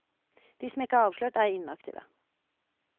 De som ikke er avslørt, er inaktive.